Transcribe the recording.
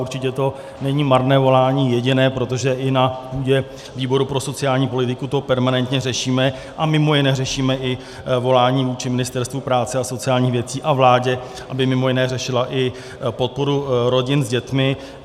Určitě to není marné volání, jediné, protože i na půdě výboru pro sociální politiku to permanentně řešíme, a mimo jiné řešíme i volání vůči Ministerstvu práce a sociálních věcí a vládě, aby mimo jiné řešila i podporu rodin s dětmi.